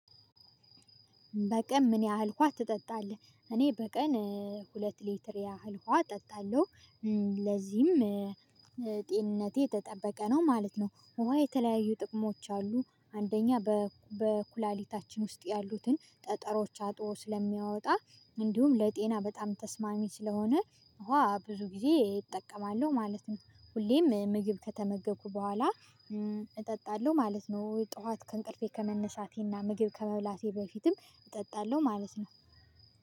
በቀን ምን ያህል ውሃ ትጠጣለህ? እኔ በቀን ሁለት ሊትር ያህል ውሃ እጠጣለሁ። ለዚህም ጤንነቴ የተጠበቀ ነው ማለት ነው። ውሃ የተለያዩ ጥቅሞች አሉ። አንደኛ በኩላሊታችን ውስጥ ያሉትን ጠጠሮች አጥቦ ስለሚያወጣ እንዲሁም ለጤና በጣም ተስማሚ ስለሆነ ውሃ ብዙ ጊዜ እጠቀማለሁ ማለት ነው። ሁሌም ምግብ ከተመገብኩ በኋላ እጠጣለሁ ማለት ነው። ጠዋት ከእንቅልፌ ከመነሳቴና ምግብ ከመብላቴ በፊትም እጠጣለሁ ማለት ነው።